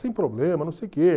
Sem problema, não sei o que.